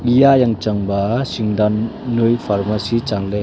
eya yang changba sing dan noi pharmacy changley.